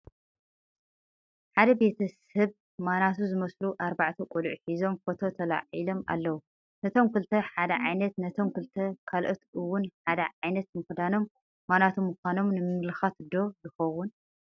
ሓደ ቤተ ሰብ ማናቱ ዝመስሉ ኣርባዕተ ቆልዑ ሒዞም ፎቶ ተላዒሎም ኣለዉ፡፡ ነቶም ክልተ ሓደ ዓይነት ነቶም ክልተ ካልኦት እውን ሓደ ዓይነት ምኽዳኖም ማናቱ ምዃኖም ንምምልኻት ዶ ይኸውን?